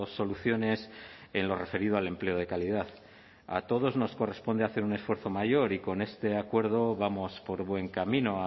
soluciones en lo referido al empleo de calidad a todos nos corresponde hacer un esfuerzo mayor y con este acuerdo vamos por buen camino